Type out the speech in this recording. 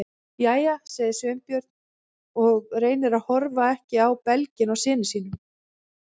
Jæja- sagði Sveinbjörn og reyndi að horfa ekki á belginn á syni sínum.